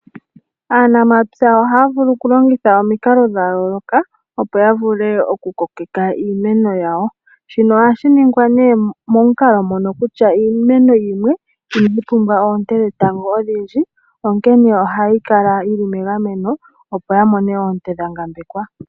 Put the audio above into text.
Aanamapya ohaa vulu okulongitha omikalo dha yooloka, opo ya vule okukokeka iimeno yawo. Shino ohashi ningwa momukalo mono kutya iimeno yimwe inayi pumbwa oonte dhetango odhindji, onkene ohayi kala yi li megameno, opo yi mone oonte dha ngambekwa.